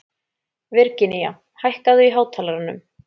Virginía, hækkaðu í hátalaranum.